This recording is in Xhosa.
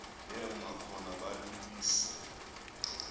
yema khona balalise